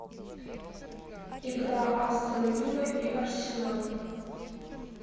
игра астон вилла и арсенал